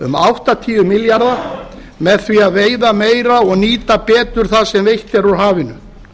um áttatíu milljarða með því að veiða meira og nýta betur það sem veitt er úr hafinu